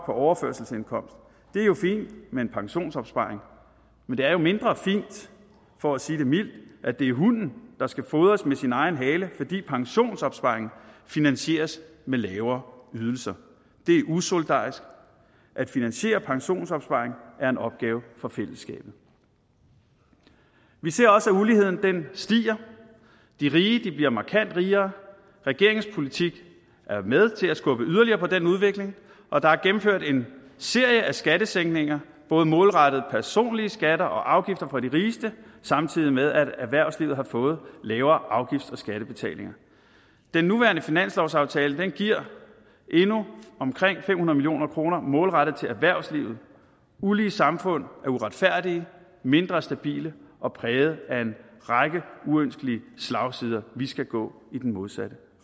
overførselsindkomst det er jo fint med en pensionsopsparing men det er mindre fint for at sige det mildt at det er hunden der skal fodres med sin egen hale fordi pensionsopsparingen finansieres med lavere ydelser det er usolidarisk at finansiere pensionsopsparing er en opgave for fællesskabet vi ser også at uligheden stiger de rige bliver markant rigere regeringens politik er med til at skubbe yderligere på den udvikling og der er gennemført en serie af skattesænkninger både målrettet personlige skatter og afgifter for de rigeste samtidig med at erhvervslivet har fået lavere afgifts og skattebetalinger den nuværende finanslovsaftale giver endnu omkring fem hundrede million kroner målrettet til erhvervslivet ulige samfund er uretfærdige mindre stabile og præget af en række uønskede slagsider vi skal gå i den modsatte